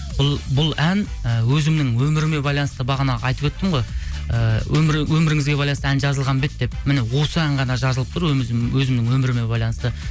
бұл ән і өзімнің өміріме байланысты бағанағы айтып өттім ғой өміріңізге байланысты ән жазылған бе еді деп міне осы ән ғана жазылып тұр өзімнің өміріме байланысты